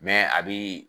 a bi